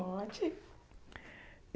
Pode.